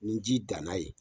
Ni ji danna yen